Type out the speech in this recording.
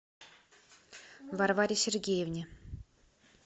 варваре сергеевне